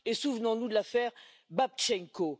et souvenons nous de l'affaire Babtchenko.